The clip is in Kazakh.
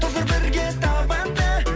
тоздыр бірге табанды